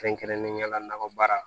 Kɛrɛnkɛrɛnnenya la nakɔ baara